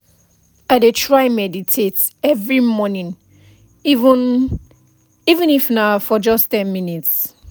i dey try meditate every morning even even if na for just ten minutes